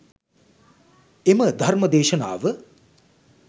එම ධර්ම දේශනාව